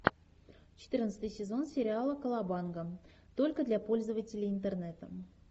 четырнадцатый сезон сериала колобанга только для пользователей интернета